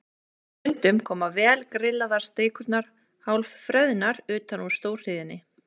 Og stundum koma vel grillaðar steikurnar hálf freðnar utan úr stórhríðinni.